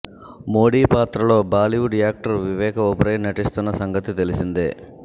మోడీ పాత్రలో Bollywood actor Vivek Oberoi నటిస్తున్న సంగతి తెలిసిందే